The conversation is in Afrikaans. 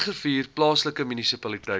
bergrivier plaaslike munisipaliteit